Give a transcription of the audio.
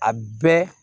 A bɛɛ